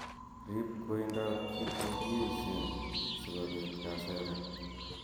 Rib koindob kit nekiyeisen sikomabit kaseret.